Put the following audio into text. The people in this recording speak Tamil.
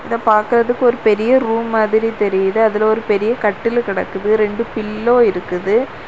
இத பாக்குறதுக்கு ஒரு பெரிய ரூம் மாதிரி தெரியுது அதுல ஒரு பெரிய கட்டில் கிடக்குது ரெண்டு பில்லோ இருக்குது.